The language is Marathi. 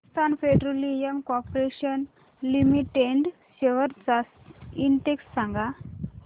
Hindustan petroleum corporation limited shares चा इंडेक्स सांगा